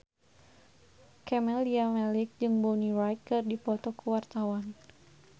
Camelia Malik jeung Bonnie Wright keur dipoto ku wartawan